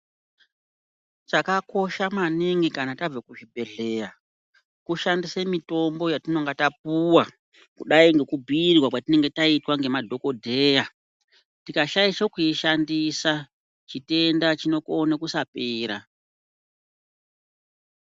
Chakakosha maningi kanatabva kuzvibhedhleya kushandisa mitombo yatinenge tapuwa kudai ngekubhuirwa kwatinenge taita ngemadhokodheya, tikashaisha kuishandisa chitenda chinokona kusapera.